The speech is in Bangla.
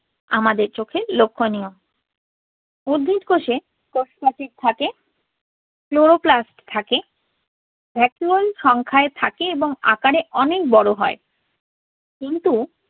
আমাদের চোখে লক্ষ্যণীয়। উদ্ভিদ কোষে থাকে Chloroplasts থাকে। vacuole সংখ্যায় থাকে এবং আকারে অনেক বড় হয়. কিন্তু